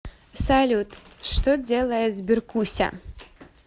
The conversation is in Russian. салют что делает сберкуся